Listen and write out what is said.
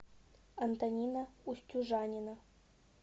антонина устюжанина